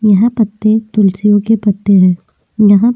यह पत्ते तुलसियों के पत्ते हैं यहाँ --